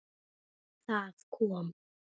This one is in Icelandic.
Það kom